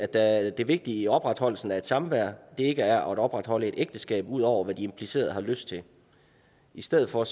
at det vigtige i opretholdelsen af et samvær ikke er at opretholde et ægteskab ud over hvad de implicerede har lyst til i stedet for